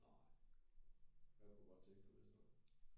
Nej hvad kunne du godt tænke dig hvis det var